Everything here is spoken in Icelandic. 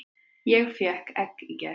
Ég fékk egg í gær.